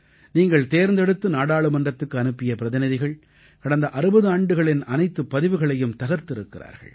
நீங்கள் தேர்ந்தெடுத்து நாடாளுமன்றத்துக்கு அனுப்பிய பிரதிநிதிகள் கடந்த 60 ஆண்டுகளின் அனைத்துப் பதிவுகளையும் தகர்த்திருக்கிறார்கள்